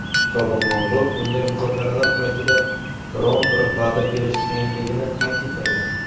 sobiq nomzod bunday muzokaralar paytida biron bir va’da berish qiyinligini ta’kidlagan.